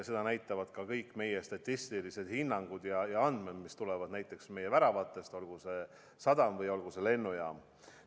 Seda näitavad ka kõik meie statistilised hinnangud ja ka andmed, mis tulevad meie väravatest, olgu see sadam või olgu see lennujaam.